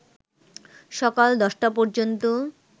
সকাল ১০টা পর্যন্ত